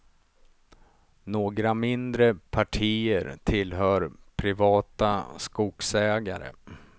Några mindre partier tillhör privata skogsägare.